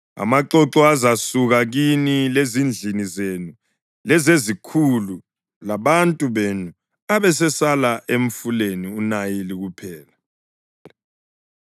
Amaxoxo azasuka kini lezindlini zenu lezezikhulu labantu benu abesesala emfuleni uNayili kuphela.”